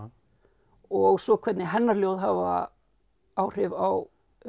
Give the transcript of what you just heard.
og svo hvernig hennar ljóð hafa áhrif á